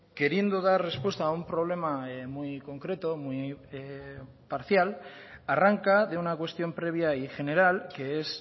queriendo dar respuesta a un problema muy concreto muy parcial arranca de una cuestión previa y general que es